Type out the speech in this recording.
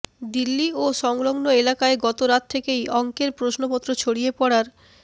দিল্লি ও সংলগ্ন এলাকায় গত রাত থেকেই অঙ্কের প্রশ্নপত্র ছড়িয়ে পড়ার